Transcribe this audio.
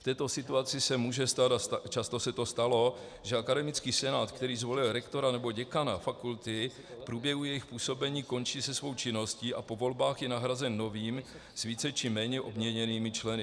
V této situaci se může stát, a často se to stalo, že akademický senát, který zvolil rektora nebo děkana fakulty, v průběhu jejich působení končí se svou činností a po volbách je nahrazen novým s více či méně obměněnými členy.